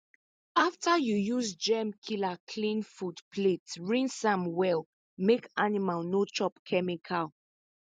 after you use germ killer clean food plate rinse am well make animal no chop chemical